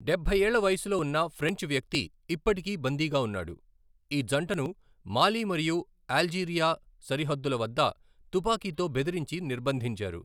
డబ్బై ఏళ్ల వయస్సులో ఉన్న ఫ్రెంచ్ వ్యక్తి ఇప్పటికీ బందీగా ఉన్నాడు, ఈ జంటను మాలి మరియు అల్జీరియా సరిహద్దుల వద్ద తుపాకీతో బెదిరించి నిర్బంధించారు.